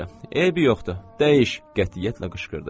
Yaxşı, eybi yoxdur, dəyiş, qətiyyətlə qışqırdı.